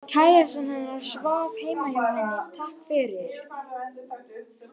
Kærastinn hennar svaf heima hjá henni, takk fyrir